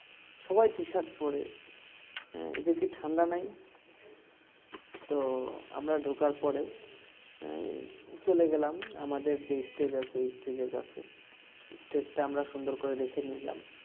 সবাই t-shirt পরে এদের কি ঠান্ডা নাই তো আমরা ঢোকার পরে চলে গেলাম আমাদের যে stage আছে stage এর কাছে stage টা আমরা সুন্দর করে দেখে নিলাম